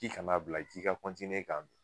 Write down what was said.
K'i kan'a bila k'i ka kɔntiniye k'a dun